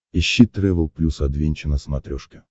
ищи трэвел плюс адвенча на смотрешке